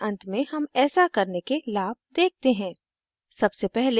इस tutorial के अंत में हम ऐसा करने के लाभ देखते हैं